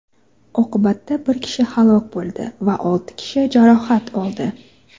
Oqibatda bir kishi halok bo‘ldi va olti kishi jarohat oldi.